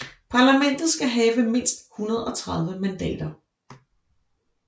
Parlamentet skal have mindst 130 mandater